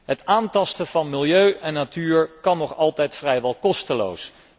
Het aantasten van milieu en natuur kan nog altijd vrijwel kosteloos.